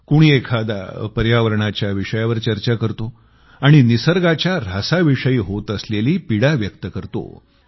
कोणी एखादा पर्यावरणाच्या विषयावर चर्चा करतो आणि निसर्गाच्या ऱ्हासाविषयी होत असलेली पीडा व्यक्त करतो